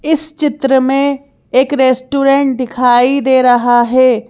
इस चित्र में एक रेस्टोरेंट दिखाई दे रहा है।